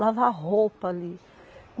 Lavar roupa ali?